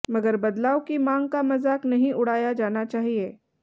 मगर बदलाव की मांग का मजाक नहीं उड़ाया जाना चाहिए